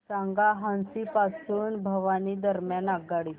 सांगा हान्सी पासून भिवानी दरम्यान आगगाडी